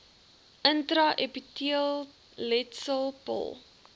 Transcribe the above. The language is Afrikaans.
intra epiteelletsel pil